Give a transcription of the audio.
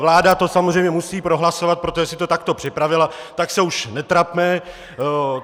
Vláda to samozřejmě musí prohlasovat, protože si to takto připravila, tak se už netrapme.